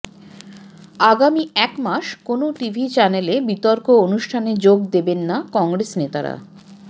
আগামী এক মাস কোনও টিভি চ্যানেলে বিতর্ক অনুষ্ঠানে যোগ দেবেন না কংগ্রেস নেতারা